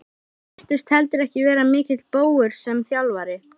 Hann virtist heldur ekki vera mikill bógur sem þjálfari.